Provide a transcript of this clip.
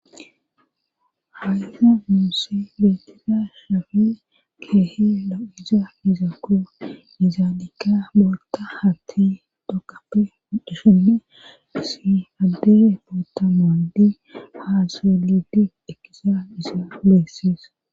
Hawina muse letida shafi kehi la'iza mizako izaadika bolta hati tokape dshenne si addere pota mondi haaselidi ekizaissa lesses.